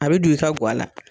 A bɛ don i ka guala.